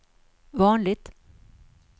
vanligt